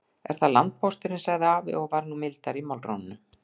Er það landpósturinn, sagði afi og var nú mildari í málrómnum.